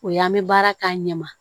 O ye an bɛ baara k'a ɲɛma